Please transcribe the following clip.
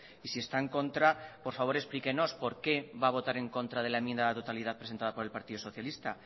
y si está en contra por favor explíquenos por qué va a votar en contra de la enmienda a la totalidad presentada por el partido socialista